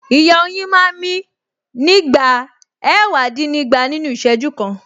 Ìyẹ́ oyin máa ń mí nígbà ẹ̀wàdínnígba nínú Ìṣẹ́jú kan